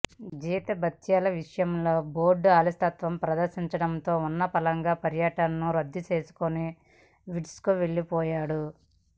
జీతభత్యాల విషయంలో బోర్డు అలసత్వం ప్రదర్శించడంతో ఉన్నపళంగా పర్యటనను రద్దు చేసుకుని విండీస్కు వెళ్లిపోయాడు